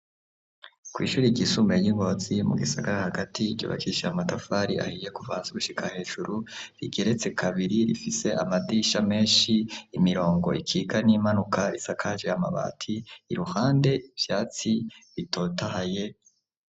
Kw'ishuri irgishume y'ingozi mu gisagara hagati y'iryobakisha ya matafari ahiye kuvanza gushika hejuru rigeretse kabiri rifise amadisha menshi imirongo ikiga n'imanuka isakaje yamabati i ruhande ivyatsi bitotahaye.